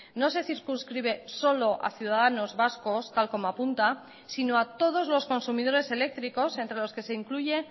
no se circunscribe solo ha ciudadanos vascos tal como apunta sino a todos los consumidores eléctricos entre los que se incluye